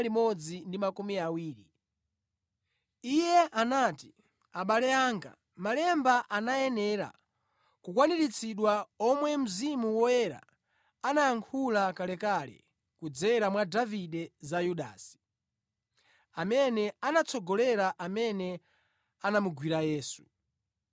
Iye anati, “Abale anga, Malemba anayenera kukwaniritsidwa omwe Mzimu Woyera anayankhula kalekale kudzera mwa Davide za Yudasi, amene anatsogolera amene anamugwira Yesu.